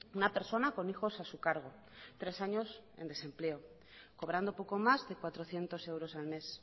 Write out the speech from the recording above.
una persona con hijos a su cargo tres años en desempleo cobrando poco más de cuatrocientos euros al mes